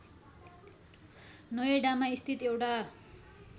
नोएडामा स्थित एउटा